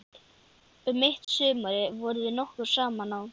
Um mitt sumarið vorum við nokkur saman á